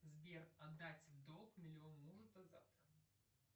сбер отдать долг миллион мужу до завтра